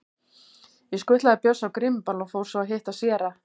Ég skutlaði Bjössa á grímuball og fór svo að hitta séra